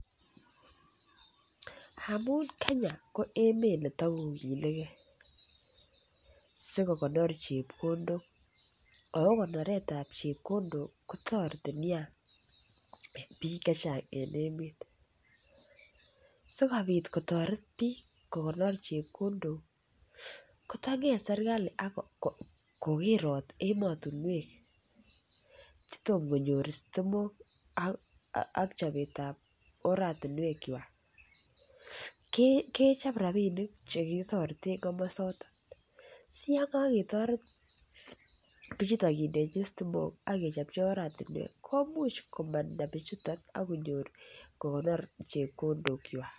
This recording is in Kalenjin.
Amun Kenya ko emet neto kogilgei sikokonor chepkondok ako konoret ab chepkondok kotoreti Nia en bik Che Chang en emet asikobit kotoret bik kogonor chepkondok ko tanget serkali ak kogerot emotinwek Che Tom konyor sitimok ak chobet ab oratinwek kwak kechob rabinik Che kitoreten komosaton si yon kogetoret bichuto kindechi sitimok ak kechopchi oratinwek komuch komanda bichuton ak konyor kogonor chepkondok kwak